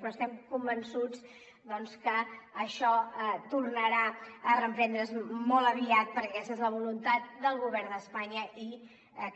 però estem convençuts que això tornarà a reprendre’s molt aviat perquè aquesta és la voluntat del govern d’espanya i